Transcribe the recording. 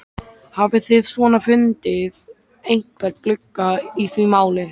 Hafið þið svona fundið einhvern glugga í því máli?